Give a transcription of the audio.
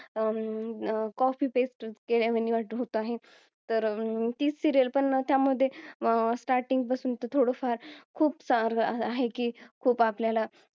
अं Copy pest केल्या होत आहे. अं तर ती Serial पण त्या मध्ये अह Starting पासून तर थोडं फार खूप सारं आहे की खूप आपल्याला